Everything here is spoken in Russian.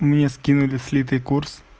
мне скинули слитый курс